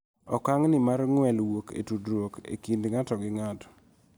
Okang' ni mar ng'wel wuok e tudruok e kind ng�ato gi ng�ato